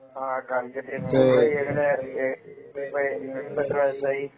കാലിക്കറ്റ് ആയിരുന്നു ഡിഗ്രി ഇപ്പൊ എങ്ങനെ നിങ്ങൾക്ക് ഇപ്പൊ എത്ര വയസ്സായി